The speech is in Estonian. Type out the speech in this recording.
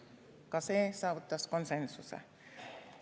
Ka see saavutas konsensuse.